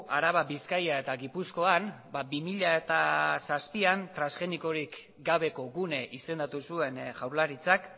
araba bizkaia eta gipuzkoan bi mila zazpian transgenikorik gabeko gune izendatu zuen jaurlaritzak